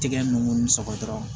Tɛgɛ ninnu saba dɔrɔn